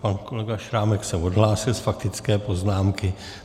Pan kolega Šrámek se odhlásil z faktické poznámky.